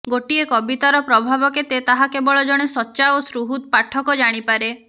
ଗୋଟିଏ କବିତାର ପ୍ରଭାବ କେତେ ତାହା କେବଳ ଜଣେ ସଚ୍ଚା ଓ ସୁହୃଦ୍ ପାଠକ ଜାଣିପାରେ